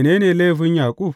Mene ne laifin Yaƙub?